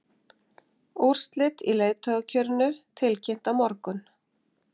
Úrslit í leiðtogakjörinu tilkynnt á morgun